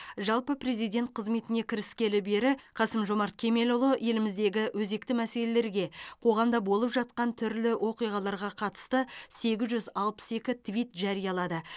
жалпы президент қызметіне кіріскелі бері қасым жомарт кемелұлы еліміздегі өзекті мәселелерге қоғамда болып жатқан түрлі оқиғаларға қатысты сегіз жүз алпыс екі твит жариялады